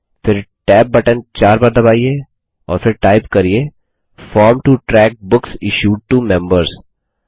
फिर tab button 4 बार दबाइए और फिर टाइप करिये form to track books issued to members